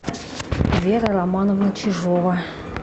вера романовна чижова